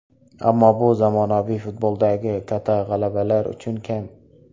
Ammo bu zamonaviy futboldagi kata g‘alabalar uchun kam.